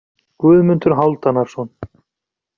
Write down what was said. Guðmundur Hálfdanarson.